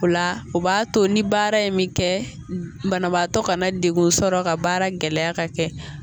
O la o b'a to ni baara in mi kɛ banabaatɔ kana degun sɔrɔ ka baara gɛlɛya ka kɛ.